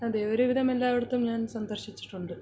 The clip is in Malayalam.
അതെ ഒരുവിധം എല്ലാവിടത്തും ഞാൻ സന്ദർശിച്ചിട്ടുണ്ട്